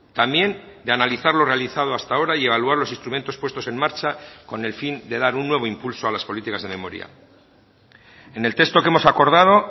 también de analizar lo realizado hasta ahora y evaluar los instrumentos puestos en marcha con el fin de dar un nuevo impulso a las políticas de memoria en el texto que hemos acordado